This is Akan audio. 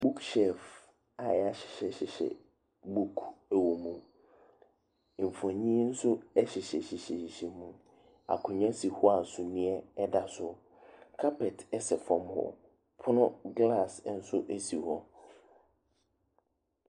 Book shelf a yɛahyehyɛ book wɔ mu, mfonini nso hyehyɛhyehyɛ mu. Akonnwa si hɔ a suneɛ da so. Carpet sɛ fam hɔ, pono glaase nso si hɔ.